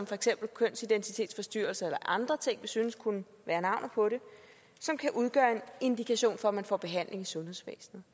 for eksempel kønsidentitetsforstyrrelser eller andre ting som synes kunne være navnet på det som kan udgøre en indikation for at man får behandling i sundhedsvæsenet